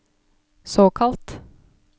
såkalt